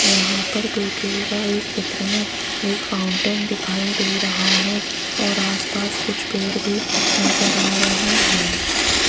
यहां पर देखिएगा इस चित्र में एक फाउंटेन दिखाई दे रहा है और आसपास कुछ पेड़ भी नजर आ रहे हैं।